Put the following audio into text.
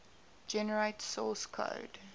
generate source code